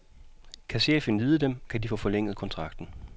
Kan chefen lide dem, kan de få forlænget kontrakten.